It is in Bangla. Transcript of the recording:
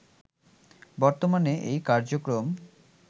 বর্তমানে এই কার্যক্রম